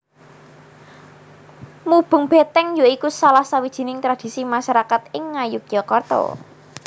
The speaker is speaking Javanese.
Mubeng Beteng ya iku salah sawijing tradisi masarakat ing Ngayogyakarta